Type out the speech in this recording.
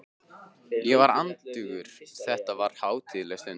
Ég var andaktugur, þetta var hátíðleg stund.